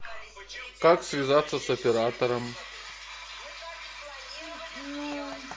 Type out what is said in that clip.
как связаться с оператором